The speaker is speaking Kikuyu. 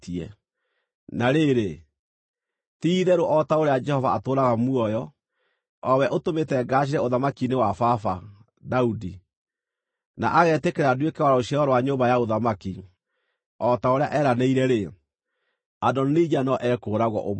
Na rĩrĩ, ti-itherũ o ta ũrĩa Jehova atũũraga muoyo, o we ũtũmĩte ngaacĩre ũthamaki-inĩ wa baba, Daudi, na agetĩkĩra nduĩke wa rũciaro rwa nyũmba ya ũthamaki, o ta ũrĩa eranĩire-rĩ, Adonija no ekũũragwo ũmũthĩ!”